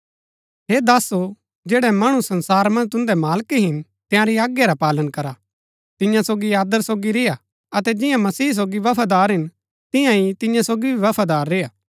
हे दासो जैड़ै मणु संसारा मन्ज तुन्दै मालक हिन तंयारी आज्ञा रा पालन करा तिन्या सोगी आदर सोगी रेय्आ अतै जिन्या मसीह सोगी बफादार हिन तियां ही तिन्या सोगी भी बफादार रेय्आ